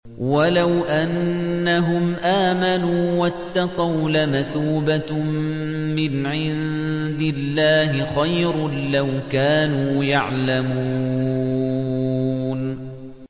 وَلَوْ أَنَّهُمْ آمَنُوا وَاتَّقَوْا لَمَثُوبَةٌ مِّنْ عِندِ اللَّهِ خَيْرٌ ۖ لَّوْ كَانُوا يَعْلَمُونَ